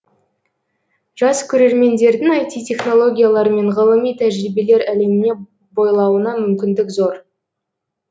жас көреремендердің айти технологиялар мен ғылыми тәжірибелер әлеміне бойлауына мүмкіндік зор